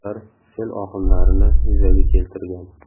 Ular sel oqimlarini yuzaga keltirgan.